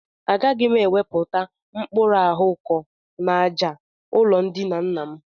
Agaghị m ewepụta mkpuru ahụ ko n'àjà ụlọndina nna m